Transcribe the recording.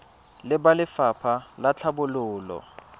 le ba lefapha la tlhabololo